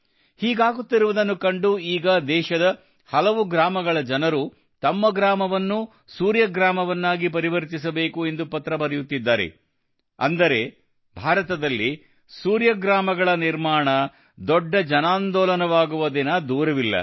ಹೀಗಾಗುತ್ತಿರುವುದನ್ನು ಕಂಡು ಈಗ ದೇಶದ ಹಲವು ಗ್ರಾಮಗಳ ಜನರು ತಮ್ಮ ಗ್ರಾಮವನ್ನೂ ಸೂರ್ಯಗ್ರಾಮವನ್ನಾಗಿ ಪರಿವರ್ತಿಸಬೇಕು ಎಂದು ಪತ್ರ ಬರೆಯುತ್ತಿದ್ದಾರೆ ಅಂದರೆ ಭಾರತದಲ್ಲಿ ಸೂರ್ಯಗ್ರಾಮಗಳ ನಿರ್ಮಾಣ ದೊಡ್ಡ ಜನಾಂದೋಲನವಾಗುವ ದಿನ ದೂರವಿಲ್ಲ